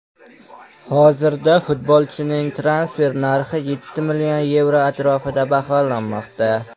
Hozirda futbolchining transfer narxi yetti million yevro atrofida baholanmoqda.